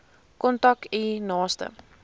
kontak u naaste